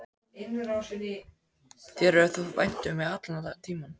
Þér hefur þótt vænt um mig allan tímann.